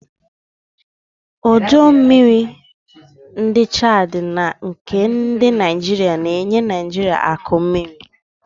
ọdọ mmiri ndi Chadi na nke ndi Kainji na-enye Naijiria akụ mmiri.